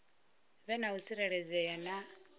vhe na u tsireledzea na